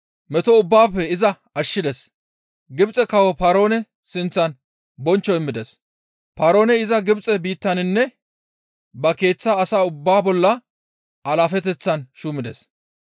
Meto ubbaafe iza ashshides; Gibxe kawo Paaroone sinththan bonchcho immides; Paarooney iza Gibxe biittaninne ba keeththa asa ubbaa bolla alaafeteththan shuumides.